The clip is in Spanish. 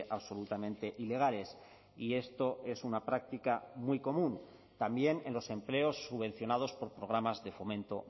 absolutamente ilegales y esto es una práctica muy común también en los empleos subvencionados por programas de fomento